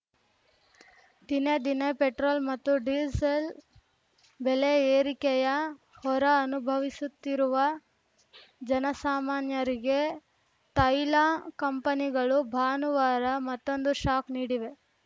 ದಿನೇ ದಿನೇ ಪೆಟ್ರೋಲ್‌ ಮತ್ತು ಡೀಸೆಲ್‌ ಬೆಲೆ ಏರಿಕೆಯ ಹೊರೆ ಅನುಭವಿಸುತ್ತಿರುವ ಜನಸಾಮಾನ್ಯರಿಗೆ ತೈಲ ಕಂಪನಿಗಳು ಭಾನುವಾರ ಮತ್ತೊಂದು ಶಾಕ್‌ ನೀಡಿವೆ